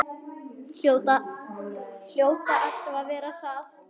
Hljóta alltaf að verða það.